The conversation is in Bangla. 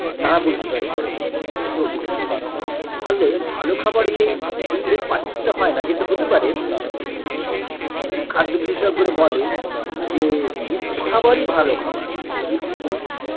তারা বলতে পারে তো ফলে ভালো খাবারের এ এ পার্থক্য টা হয়না যেটা হতে পারে মানে খাদ্য বিশেষজ্ঞরা বলেন যে মিশ্র খাবার ই ভালো খাবার mixed food